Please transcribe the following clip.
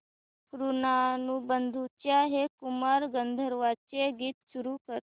ऋणानुबंधाच्या हे कुमार गंधर्वांचे गीत सुरू कर